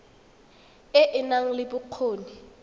e e nang le bokgoni